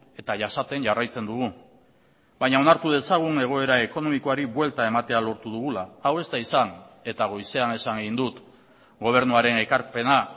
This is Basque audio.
eta jasaten jarraitzen dugu baina onartu dezagun egoera ekonomikoari buelta ematea lortu dugula hau ez da izan eta goizean esan egin dut gobernuaren ekarpena